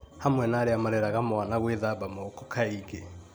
hamwe na arĩa mareraga mwana gwĩthamba moko kaingĩ